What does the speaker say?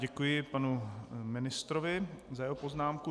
Děkuji panu ministrovi za jeho poznámku.